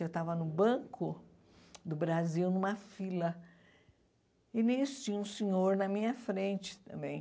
Eu estava no banco do Brasil, numa fila, e nisso tinha um senhor na minha frente também.